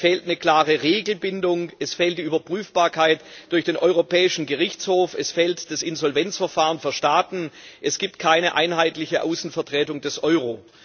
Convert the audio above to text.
Es fehlt eine klare Regelbindung, es fehlt die Überprüfbarkeit durch den Europäischen Gerichtshof, es fehlt das Insolvenzverfahren für Staaten, es gibt keine einheitliche Außenvertretung des Euro.